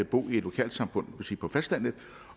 bo i et lokalsamfund på fastlandet